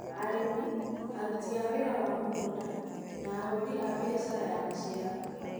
Arĩmi, aruti a wĩra wa mũgũnda, na ahũri a biashara a maciaro